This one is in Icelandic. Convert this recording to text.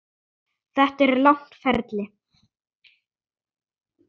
Þetta er langt ferli.